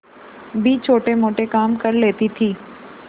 भी छोटेमोटे काम कर लेती थी